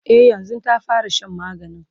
e yanzun ta fara Shan maganin